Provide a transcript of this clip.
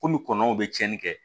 Kɔmi kɔnɔw bɛ cɛnni kɛ